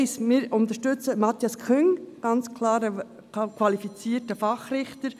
Wir unterstützen Matthias Küng, ganz klar ein qualifizierter Fachrichter.